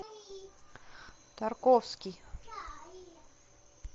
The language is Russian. тарковский